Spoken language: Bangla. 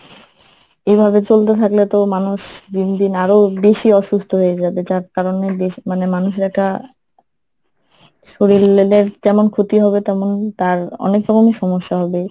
এভাবে চলতে থাকলে তো মানুষ দিন দিন আরো বেশি অসুস্থ হয়ে যাবে যার কারণে দেশ মানে মানুষের একটা শরিল লেলের যেমন ক্ষতি হবে তেমন তার অনেক রকমের সমস্যা হবে।